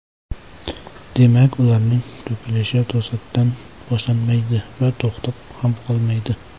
Demak, ularning to‘kilishi to‘satdan boshlanmaydi va to‘xtab ham qolmaydi.